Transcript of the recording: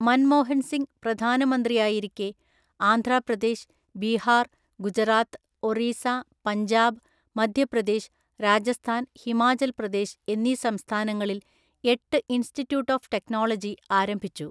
മൻമോഹൻ സിംഗ് പ്രധാനമന്ത്രിയായിരിക്കെ ആന്ധ്രാപ്രദേശ്, ബീഹാർ, ഗുജറാത്ത്, ഒറീസ, പഞ്ചാബ്, മധ്യപ്രദേശ്, രാജസ്ഥാൻ, ഹിമാചൽ പ്രദേശ് എന്നീ സംസ്ഥാനങ്ങളിൽ എട്ട് ഇൻസ്റ്റിറ്റ്യൂട്ട് ഓഫ് ടെക്നോളജി ആരംഭിച്ചു.